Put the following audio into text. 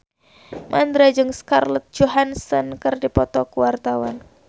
Mandra jeung Scarlett Johansson keur dipoto ku wartawan